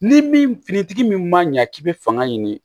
Ni min fini tigi min ma ɲa k'i be fanga ɲini